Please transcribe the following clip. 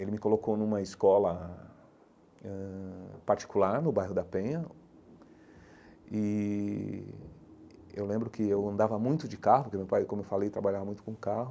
Ele me colocou numa escola ãh ãh particular, no bairro da Penha, e eu lembro que eu andava muito de carro, porque meu pai, como eu falei, trabalhava muito com carro,